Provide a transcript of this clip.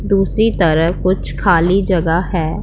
दूसरी तरफ कुछ खाली जगह है।